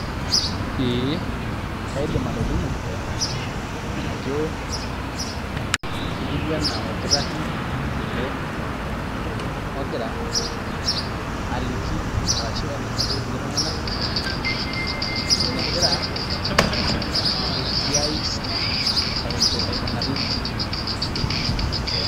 Ee kaidim atolimu ajo etiu enaa orkitarri ele ogira aliki ashu ogira ainasaki iltung'anak enegira esiai aikunari.